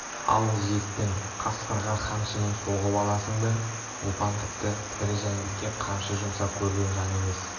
ал жеттің қасқырға қамшымен соғып аласың ба ұлпан тіпті тірі жәндікке қамшы жұмсап көрген жан емес